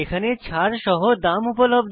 ছাড় সহ দাম উপলব্ধ